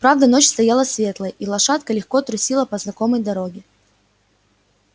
правда ночь стояла светлая и лошадка легко трусила по знакомой дороге